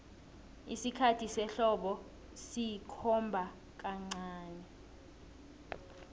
isikhathi sehlobo sikhomba kancani